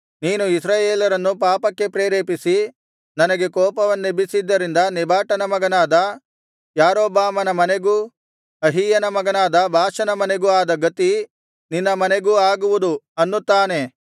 ನೀನು ಇಸ್ರಾಯೇಲ್ಯರನ್ನು ಪಾಪಕ್ಕೆ ಪ್ರೇರೇಪಿಸಿ ನನಗೆ ಕೋಪವನ್ನೆಬಿಸಿದ್ದರಿಂದ ನೆಬಾಟನ ಮಗನಾದ ಯಾರೊಬ್ಬಾಮನ ಮನೆಗೂ ಅಹೀಯನ ಮಗನಾದ ಬಾಷನ ಮನೆಗೂ ಆದ ಗತಿ ನಿನ್ನ ಮನೆಗೂ ಆಗುವುದು ಅನ್ನುತ್ತಾನೆ